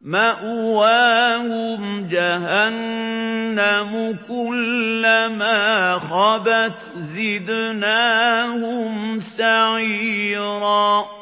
مَّأْوَاهُمْ جَهَنَّمُ ۖ كُلَّمَا خَبَتْ زِدْنَاهُمْ سَعِيرًا